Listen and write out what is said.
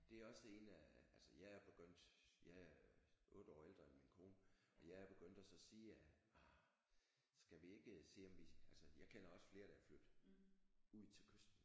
Det er også det en af altså jeg er begyndt jeg er 8 år ældre end min kone og jeg er begyndt og så sige at ah skal vi ikke se om vi altså jeg kender også flere der er flyttet ud til kysten